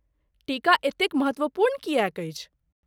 टीका एतेक महत्वपूर्ण किएक अछि?